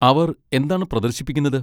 അവർ എന്താണ് പ്രദർശിപ്പിക്കുന്നത്?